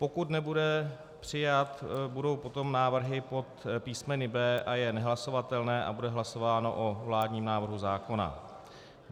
Pokud nebude přijat, budou potom návrhy pod písmeny B a J nehlasovatelné a bude hlasováno o vládním návrhu zákona.